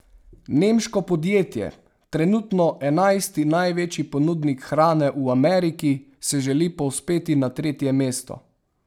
Nemško podjetje, trenutno enajsti največji ponudnik hrane v Ameriki, se želi povzpeti na tretje mesto.